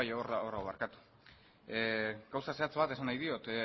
bai hor dago barkatu gauza zehatz bat esan nahi diot